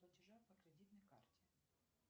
платежи по кредитной карте